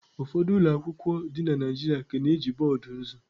Ụfọdụ ụlọ akwụkwọ dị na Naịjirịa ka na-eji boọdụ nzu.